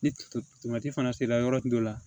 Ni fana sera yɔrɔ tun dɔ la